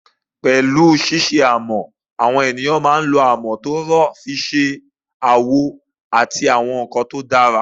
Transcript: Pẹ̀lú ṣíṣe amọ̀, àwọn ènìyàn máa ń mọ amọ̀ tó rọ̀ sí ife, àwo, àti àwọn nkan tó dára